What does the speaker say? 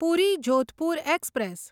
પૂરી Jodhpur express